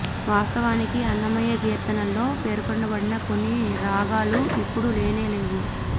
వాస్తవానికి అన్నమయ్య కీర్తనల్లో పేర్కొనబడిన కొన్ని రాగాలు ఇప్పుడు లేనే లేవు